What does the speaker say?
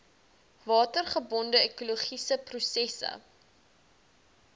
watergebonde ekologiese prosesse